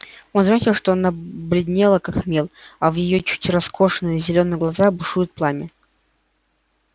он заметил что она бледнела как мел а в её чуть раскосых зелёных глазах бушует пламя